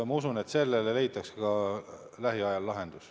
Ma usun, et sellele leitakse lähiajal lahendus.